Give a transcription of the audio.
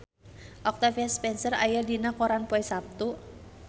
Octavia Spencer aya dina koran poe Saptu